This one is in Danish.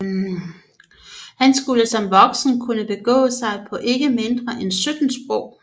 Han skulle som voksen kunne begå sig på ikke mindre end 17 sprog